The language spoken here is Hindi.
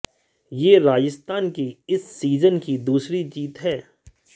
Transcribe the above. यह राजस्थान की इस सीजन की दूसरी जीत है